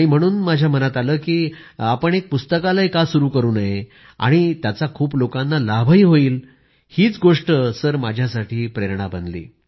म्हणून माझ्या मनात आलं की आम्ही एक पुस्तकालय का सुरू करू नये आणि त्याचा खूप लोकांना लाभ होईल हीच गोष्ट माझ्यासाठी प्रेरणा बनली